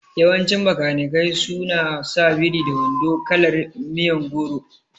Yawancin Bakanikai su na sa biri da wando kalar miyon goro